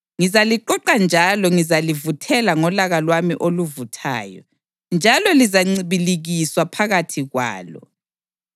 Ngizaliqoqa njalo ngizalivuthela ngolaka lwami oluvuthayo, njalo lizancibilikiswa phakathi kwalo.